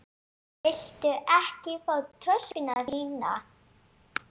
Viltu ekki fá töskuna þína?